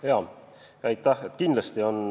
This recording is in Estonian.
Jaa, aitäh!